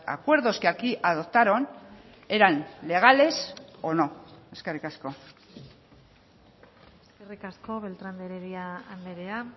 acuerdos que aquí adoptaron eran legales o no eskerrik asko eskerrik asko beltrán de heredia andrea